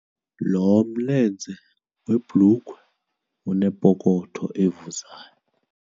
Lo mlenze webhulukhwe unepokotho evuzayo.